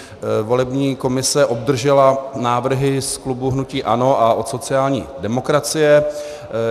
Volební komise obdržela návrhy z klubu hnutí ANO a od sociální demokracie.